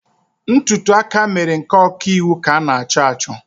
Ntùtù akamèrè nke ọ̀kiīwū ka an'acho acho.